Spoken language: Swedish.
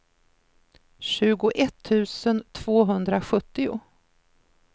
tjugoett tusen tvåhundrasjuttio